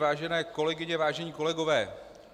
Vážené kolegyně, vážení kolegové.